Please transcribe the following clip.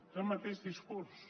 és el mateix discurs